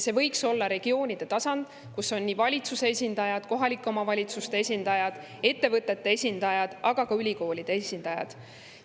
See võiks olla regioonide tasand, kus on valitsuse esindajad, kohalike omavalitsuste esindajad ja ettevõtete esindajad, aga ka ülikoolide esindajad.